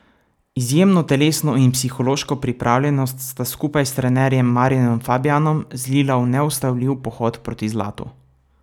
Izjemno telesno in psihološko pripravljenost sta skupaj s trenerjem Marjanom Fabjanom zlila v neustavljiv pohod proti zlatu.